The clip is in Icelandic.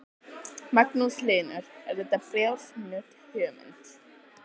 Magnús Hlynur: Og þetta er bráðsnjöll hugmynd?